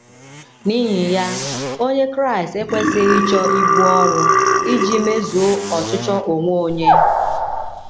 N’ihi ya, Onye Kraịst ekwesịghị ịchọ ibu ọrụ iji mezuo ọchịchọ onwe onye.